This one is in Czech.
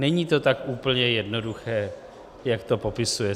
Není to tak úplně jednoduché, jak to popisuje.